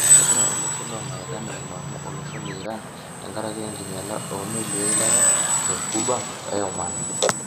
Egira olosho lo-lamerikani ailaumu olosho le- Iran tengaraki enkinyiala omeeli eilata te-Ghuba e -Oman.